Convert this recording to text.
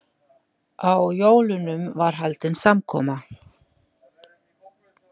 Á jólunum var haldin samkoma.